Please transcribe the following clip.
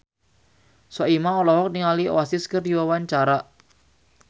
Soimah olohok ningali Oasis keur diwawancara